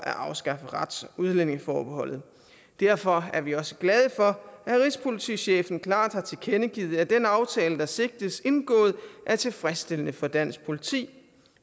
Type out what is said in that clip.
at afskaffe rets og udlændingeforbeholdet derfor er vi også glade for at rigspolitichefen klart har tilkendegivet at den aftale der sigtes indgået er tilfredsstillende for dansk politi